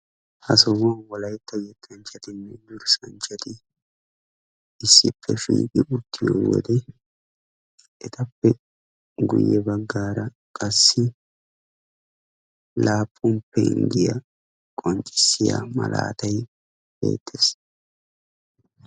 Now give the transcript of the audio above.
Ha sohuwaan Wolaytta yettanchchati durssanchchati issippe shiiqi uttiyoode etappe guyyee baggara qassi laappun penggiyaa qonccissiyaa malatay beettees.